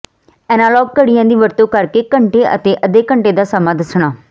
analogue ਘੜੀਆਂ ਦੀ ਵਰਤੋ ਕਰਕੇ ਘੰਟੇ ਅਤੇ ਅੱਧੇ ਘੰਟੇ ਦਾ ਸਮਾਂ ਦੱਸਣਾ